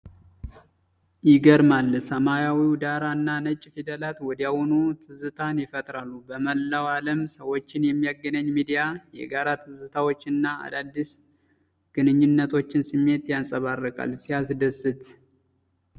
ይገርማል! ሰማያዊው ዳራ እና ነጭ ፊደላት ወዲያውኑ ትዝታን ይፈጥራሉ። በመላው ዓለም ሰዎችን የሚያገናኝ ሚዲያ! የጋራ ትዝታዎችን እና አዳዲስ ግንኙነቶችን ስሜት ያንጸባርቃል። ሲያስደስት!